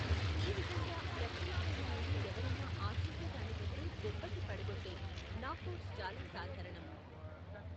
ఈ విధంగా, రక్షణ శైలి నుండి ఎవరైనా ఆశించే దానికంటే దెబ్బకి పడకొట్టే నాక్కౌట్స్ చాలా సాధారణం.